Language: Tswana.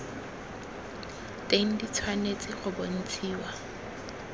teng di tshwanetse go bontshiwa